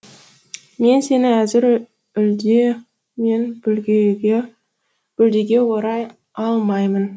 мен сені әзір үлде мен бүлдеге орай алмаймын